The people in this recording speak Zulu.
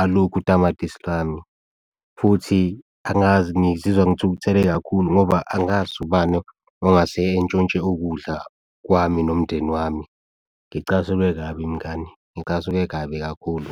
alukho utamatisi lami futhi angazi ngizizwa ngithukuthele kakhulu ngoba angazi ubani ongase entshontshe ukudla kwami nomndeni wami. Ngicasulwe kabi mngani, ngicasuke kabi kakhulu.